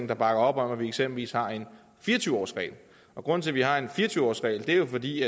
der bakker op om at vi eksempelvis har en fire og tyve årsregel og grunden til at vi har en fire og tyve årsregel er jo fordi